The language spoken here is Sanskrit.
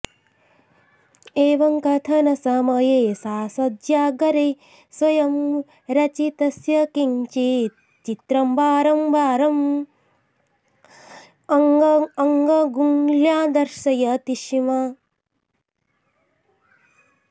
एवं कथनसमये सा शय्यागारे स्वयं रचितस्य किञ्चित् चित्रं वारं वारम् अङ्गुल्या दर्शयति स्म